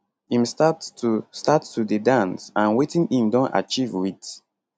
im start to start to dey dance and wetin im don achieve wit